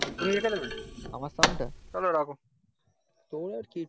এখুনি রেখে দেবে আমার পাউন টা তাহলে রাখো ধর